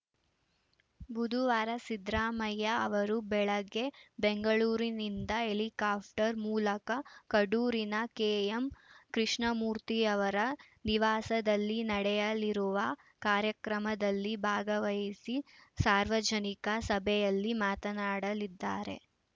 ಬುದುವಾರ ಸಿದ್ದರಾಮಯ್ಯ ಅವರು ಬೆಳಗ್ಗೆ ಬೆಂಗಳೂರಿನಿಂದ ಹೆಲಿಕಾಫ್ಟರ್ ಮೂಲಕ ಕಡೂರಿನ ಕೆಎಂ ಕೃಷ್ಣಮೂರ್ತಿಯವರ ನಿವಾಸದಲ್ಲಿ ನಡೆಯಲಿರುವ ಕಾರ್ಯಕ್ರಮದಲ್ಲಿ ಭಾಗವಹಿಸಿ ಸಾರ್ವಜನಿಕ ಸಭೆಯಲ್ಲಿ ಮಾತನಾಡಲಿದ್ದಾರೆ